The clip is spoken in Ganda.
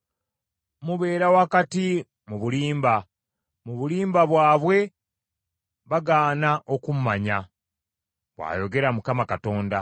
Mubeera wakati mu bulimba; mu bulimba bwabwe bagaana okummanya,” bw’ayogera Mukama Katonda.